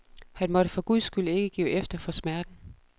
Han måtte for guds skyld ikke give efter for smerten.